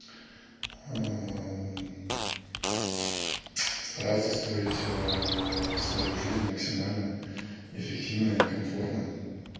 стараться строить свою жизнь максимально эффективно и комфортно